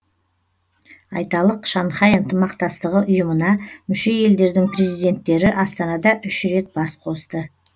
айталық шанхай ынтымақтастығы ұйымына мүше елдердің президенттері астанада үш рет бас қосты